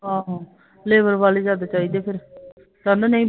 ਆਹੋ ਲੇਬਰ ਵਾਲੇ ਵੀ ਜਾਦਾ ਚਾਹੀਦੇ ਫਿਰ ਕਹਿੰਦਾ ਨਈ